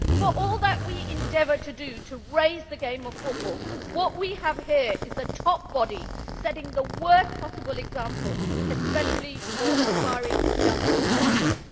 For all that we endeavour to raise the profile of the game of football, what we have here is the top body setting the worst possible example, especially for aspiring young footballers.